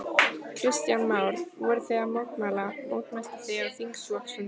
Kristján Már: Voruð þið að mótmæla, mótmæltuð þið á þingflokksfundinum?